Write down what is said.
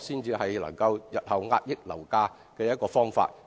這才是日後遏抑樓價的方法。